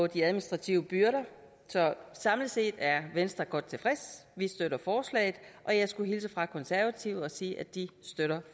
de administrative byrder så samlet set er venstre godt tilfreds vi støtter forslaget og jeg skulle hilse fra de konservative og sige at de støtter